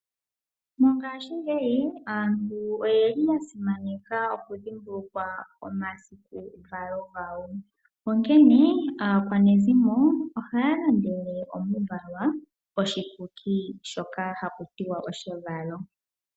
Mongashingeyi aantu oyeli yasimaneka okudhimbulukwa omasiku valo gawo, onkene aakwanezimo ohaya landandele omuvalwa oshikuki shoka hakutiwa oshevalo.